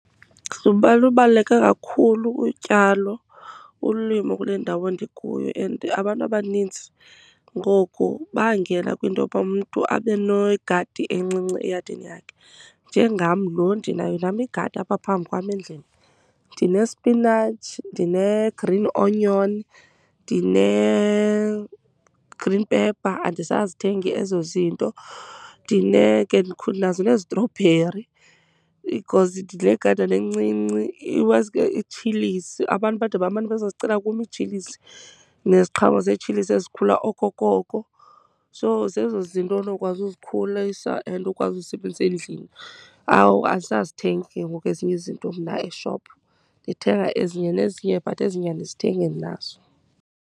Ngoba lubaluleke kakhulu utyalo, ulimo kule ndawo ndikuyo and abantu abanintsi ngoku bangena kwinto yoba umntu abe negadi encinci eyadini yakhe. Njengam lo, ndinayo nam igadi apha phambi kwam endlini. Ndinesipinatshi, ndine-green onion ndine-green pepper, andisazithengi ezo zinto. Ndine ke ndinazo neezitrobheri because le gadana encinci iwesi ke itshilisi, abantu bade bamane bezozozicela kum iitshilisi neziqhamo zeetshilisi ezikhula okokoko. So, zezo zinto onokwazi uzikhulisa and ukwazi uzisebenzisa endlini. Awu, andisazithengi ke ngoku mna ezinye izinto eshophu. Ndithenga ezinye nezinye but ezinye andizithengi, ndinazo.